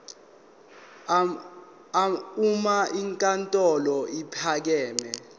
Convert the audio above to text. uma inkantolo ephakeme